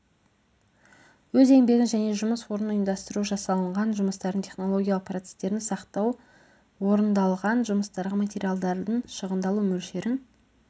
өз еңбегін және жұмыс орнын ұйымдастыру жасалынған жұмыстардың технологиялық процестерін сақтау орындалған жұмыстарға материалдардың шығындалу мөлшерін